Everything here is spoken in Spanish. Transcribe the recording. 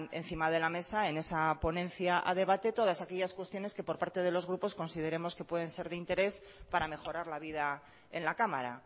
encima de la mesa en esa ponencia a debate todas aquellas cuestiones que por parte de los grupos consideremos que pueden ser de interés para mejorar la vida en la cámara